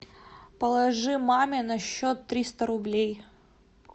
положи маме на счет триста рублей